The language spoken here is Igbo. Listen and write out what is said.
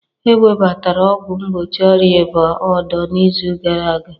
Ewebatara ọgwụ mgbochi ọrịa ịba odo n'izu gara aga